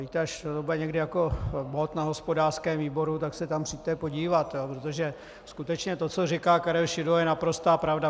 Víte, až to bude někdy jako bod na hospodářském výboru, tak se tam přijďte podívat, protože skutečně to, co říká Karel Šidlo, je naprostá pravda.